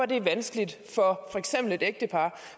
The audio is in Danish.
ægtepar